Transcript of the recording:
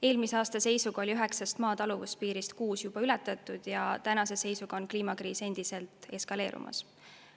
Eelmise aasta seisuga oli üheksast Maa taluvuspiirist kuus juba ületatud ja tänase seisuga on kliimakriis endiselt eskaleerumas.